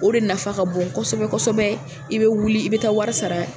O de nafa ka bon kosɛbɛ kosɛbɛ i bɛ wuli i bɛ taa wari sara.